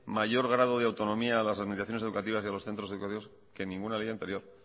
mayor grado de autonomía a las administraciones educativas y a los centros educativos que ninguna ley anterior